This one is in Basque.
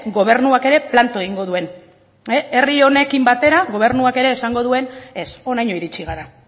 gobernuak ere planto egingo duen herri honekin batera gobernuak ere esango duen ez honaino iritsi gara